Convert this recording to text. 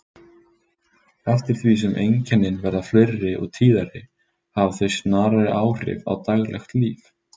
Eftir því sem einkennin verða fleiri og tíðari hafa þau snarari áhrif á daglegt líf.